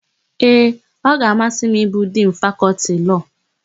Ee, ọ ga-amasị m ịbụ Dinu Fakọltị Lọọ.